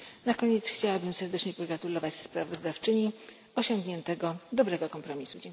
Na koniec chciałabym serdecznie pogratulować sprawozdawczyni osiągniętego dobrego kompromisu.